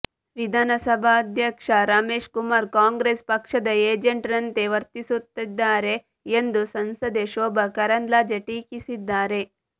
ವಿಧಾನಸಭಾಧ್ಯಕ್ಷ ರಮೇಶ್ ಕುಮಾರ್ ಕಾಂಗ್ರೆಸ್ ಪಕ್ಷದ ಏಜೆಂಟ್ ರಂತೆ ವರ್ತಿಸುತ್ತಿದ್ದಾರೆ ಎಂದು ಸಂಸದೆ ಶೋಭಾ ಕರಂದ್ಲಾಜೆ ಟೀಕಿಸಿದ್ದಾರೆ